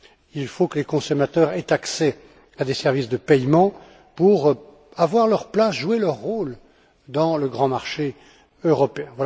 Il faut que les consommateurs aient accès à des services de paiement pour avoir leur place et jouer leur rôle dans le grand marché européen.